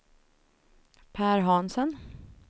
Per Hansen